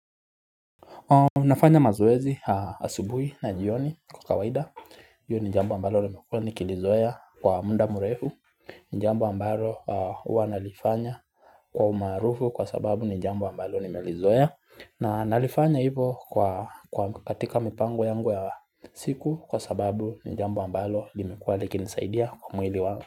Unafanya mazoezi asubui na jioni kwa kawaida, hiyo ni jambo ambalo limekuwa nikilizoea kwa mda mrefu, ni jambo ambalo huwa nalifanya kwa umaarufu kwa sababu ni jambo ambalo nimelizoea na nalifanya hivo kwa katika mipango yangu ya siku kwa sababu ni jambo ambalo limekuwa likinisaidia kwa mwili wangu.